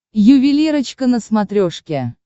ювелирочка на смотрешке